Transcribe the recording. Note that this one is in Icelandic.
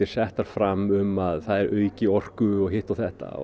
settar fram um að þær auki orku og hitt og þetta